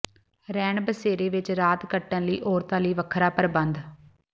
ਰੈਣ ਬਸੇਰੇ ਵਿੱਚ ਰਾਤ ਕੱਟਣ ਲਈ ਔਰਤਾਂ ਲਈ ਵੱਖਰਾ ਪ੍ਰਬੰਧ